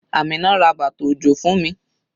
Amina ra bàtà òjò fún mi.